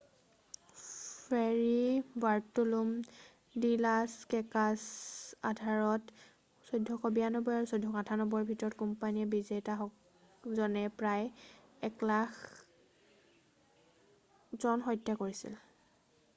Ferry Bartolome de Las কেছাছৰ Tratado de Las Indias আধাৰত ১৪৯২ আৰু ১৪৯৮ চনৰ ভিতৰত স্পেনীয় বিজেতাজনে প্ৰায় ১০০,০০০ জন হত্যা কৰিছিল।